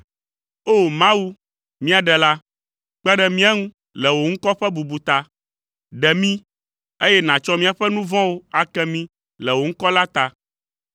O! Mawu, mía Ɖela, kpe ɖe mía ŋu le wò ŋkɔ ƒe bubu ta. Ɖe mí, eye nàtsɔ míaƒe nu vɔ̃wo ake mí le wò ŋkɔ la ta.